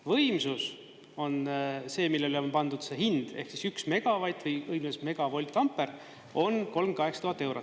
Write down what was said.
Võimsus on see, millele on pandud see hind ehk 1 megavatt või õigemini 1 megavoltamper on 38 000 eurot.